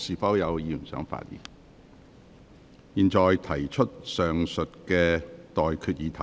我現在向各位提出上述待決議題。